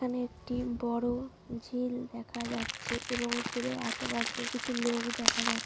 এখানে একটি বড়ো ঝিল দেখা যাচ্ছে এবং ঝিলের আশেপাশে কিছু লোক দেখা যায়।